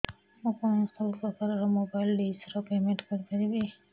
ମୁ କଣ ସବୁ ପ୍ରକାର ର ମୋବାଇଲ୍ ଡିସ୍ ର ପେମେଣ୍ଟ କରି ପାରିବି